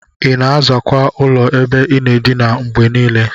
Ina azakwa ụlọ ebe inaa edinaa ngbenile?